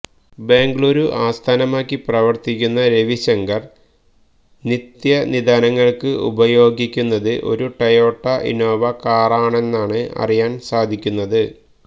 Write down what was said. ബങ്കളുരു ആസ്ഥാനമാക്കി പ്രവര്ത്തിക്കുന്ന രവിശങ്കര് നിത്യനിദാനങ്ങള്ക്ക് ഉപയോഗിക്കുന്നത് ഒരു ടൊയോട്ട ഇന്നോവ കാറാണെന്നാണ് അറിയാന് സാധിക്കുന്നത്